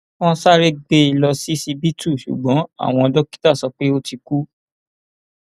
wọn sáré gbé e lọ ṣíṣíbítú ṣùgbọn àwọn dókítà sọ pé ó ti kú